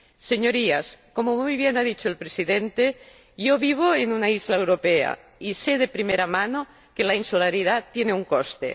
Señorías, como muy bien ha dicho el Presidente, yo vivo en una isla europea y sé de primera mano que la insularidad tiene un coste.